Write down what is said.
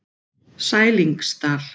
Sælingsdal